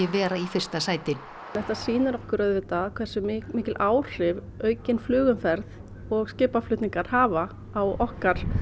vera í fyrsta sæti þetta sýnir okkur auðvitað hversu mikil áhrif aukin flugumferð og skipaflutningar hafa á okkar